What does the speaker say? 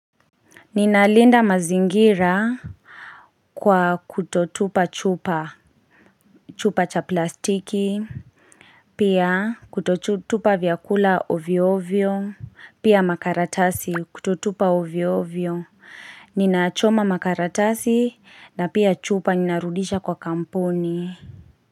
Ninalinda mazingira Kwa kutotupa chupa chupa cha plastiki Pia kutotupa vyakula hovyo hovyo Pia makaratasi kutotupa hovyo hovyo Ninachoma makaratasi na pia chupa ninarudisha kwa kampuni.